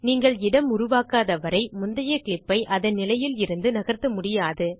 நீங்கள் இடம் உருவாக்காதவரை முந்தைய கிளிப் ஐ அதன் நிலையில் இருந்து நகர்த்த முடியாது